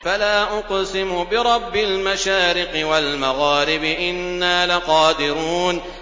فَلَا أُقْسِمُ بِرَبِّ الْمَشَارِقِ وَالْمَغَارِبِ إِنَّا لَقَادِرُونَ